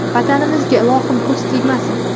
Vatanimizga, ilohim, ko‘z tegmasin!